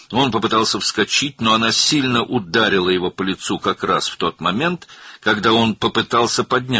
O, yerindən sıçramaq istədi, lakin o, məhz ayağa qalxmağa cəhd etdiyi anda onun üzünə güclü zərbə endirdi.